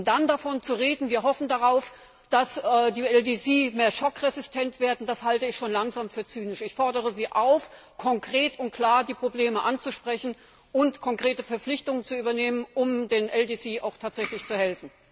Dann davon zu reden, dass wir darauf hoffen, dass die LDC schockresistenter werden, das halte ich schon langsam für zynisch. Ich fordere Sie auf, konkret und klar die Probleme anzusprechen und konkrete Verpflichtungen zu übernehmen, um den LDC auch tatsächlich zu helfen!